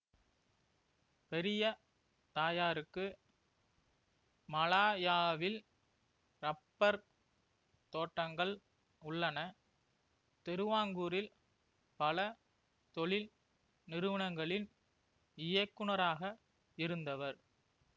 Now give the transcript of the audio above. பெரிய தாயாருக்கு மலாயாவில் ரப்பர் தோட்டங்கள் உள்ளன திருவாங்கூரில் பல தொழில் நிறுவனங்களில் இயக்குனராக இருந்தவர்